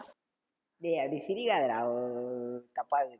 டேய் அப்படி சிரிக்காதடா ஓஓ தப்பாக்குது